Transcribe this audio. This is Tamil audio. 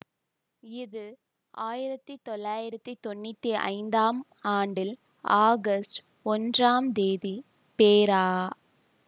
இது ஆயிரத்தி தொள்ளாயிரத்தி தொன்னூத்தி ஐந்தாம் ஆண்டில் ஆகஸ்ட் ஒன்றாம் தேதி பேரா